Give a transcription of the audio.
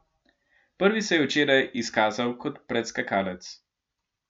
Prvi se je včeraj izkazal kot predskakalec.